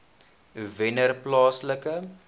wennerplaaslike